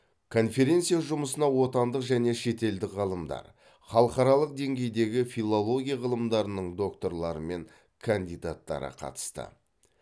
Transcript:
конференция жұмысына отандық және шетелдік ғалымдар халықаралық деңгейдегі филология ғылымдарының докторлары мен кандидаттары қатысты